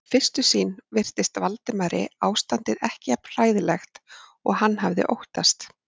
Við fyrstu sýn virtist Valdimari ástandið ekki jafn hræðilegt og hann hafði óttast.